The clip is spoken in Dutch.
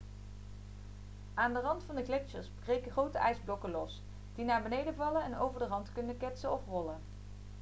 aan de rand van de gletsjers breken grote ijsblokken los die naar beneden vallen en over de rand kunnen ketsen of rollen